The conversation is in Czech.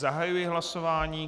Zahajuji hlasování.